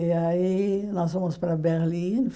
E aí nós fomos para Berlim.